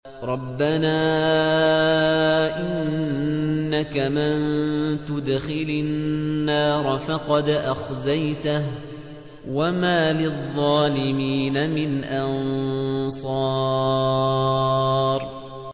رَبَّنَا إِنَّكَ مَن تُدْخِلِ النَّارَ فَقَدْ أَخْزَيْتَهُ ۖ وَمَا لِلظَّالِمِينَ مِنْ أَنصَارٍ